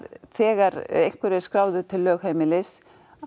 þegar einhver er skráður til lögheimilis